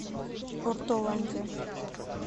ортоландия